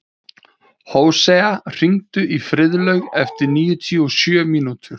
Hóseas, hringdu í Friðlaug eftir níutíu og sjö mínútur.